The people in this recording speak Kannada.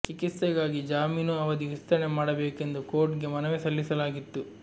ಚಿಕಿತ್ಸೆಗಾಗಿ ಜಾಮೀನು ಅವಧಿ ವಿಸ್ತರಣೆ ಮಾಡಬೇಕೆಂದು ಕೋರ್ಟ್ ಗೆ ಮನವಿ ಸಲ್ಲಿಸಲಾಗಿತ್ತು